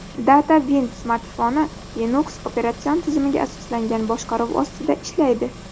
DataWind smartfoni Linux operatsion tizimiga asoslangan boshqaruv ostida ishlaydi.